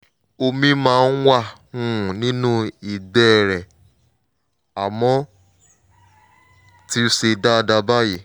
omi máa ń wà um nínú ìgbẹ́ rẹ̀ àmọ́ ó ti ṣe dáadáa báyìí